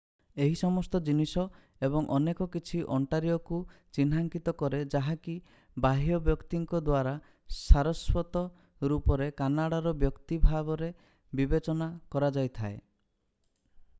ଏହି ସମସ୍ତ ଜିନିଷ ଏବଂ ଅନେକ କିଛି ଓଣ୍ଟାରିଓକୁ ଚିହ୍ନାଙ୍କିତ କରେ ଯାହାକି ବାହ୍ୟ ବ୍ୟକ୍ତିଙ୍କ ଦ୍ଵାରା ସାରସ୍ୱତ ରୂପରେ କାନାଡ଼ା ର ବ୍ୟକ୍ତି ଭାବରେ ବିବେଚନା କରାଯାଇଥାଏ